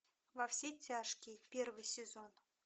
во все тяжкие первый сезон